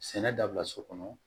Sɛnɛ dabila so kɔnɔ